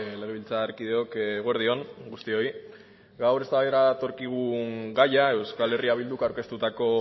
legebiltzarkideok eguerdi on guztioi gaur eztabaidara datorkigun gaia euskal herria bilduk aurkeztutako